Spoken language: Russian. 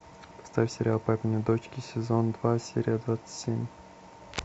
поставь сериал папины дочки сезон два серия двадцать семь